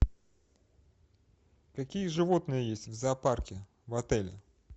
какие животные есть в зоопарке в отеле